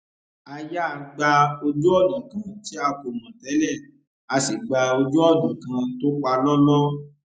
a yà gba ojúònà kan tí a kò mò télè a sì gba ojú ònà kan tó palóló